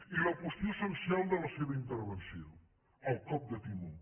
i la qüestió essencial de la seva intervenció el cop de timó